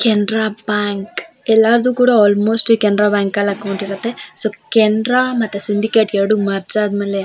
Canara bank ಎಲ್ಲಾರ್ದು ಕೂಡ almost ಈ ಕೆನ್ರಾ ಬ್ಯಾಂಕ್ ಅಲ್ಲ್ ಅಕೌಂಟ್ ಇರುತ್ತೆ ಸೊ ಕೆನ್ರ ಮತ್ತೆ ಸಿಂಡಿಕೇಟ್ ಎರ್ಡೂ ಮರ್ಜ್ ಆದ್ಮೇಲೆ --